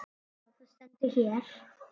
Já, það stendur hér.